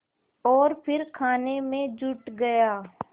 और फिर खाने में जुट गया